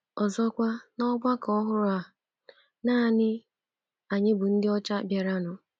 Ọzọkwa, n’ọgbakọ ọhụrụ a, nanị anyị bụ ndị ọcha bịaranụ.